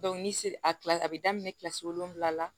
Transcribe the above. ni a kila la a bɛ daminɛ kilasi wolonwula la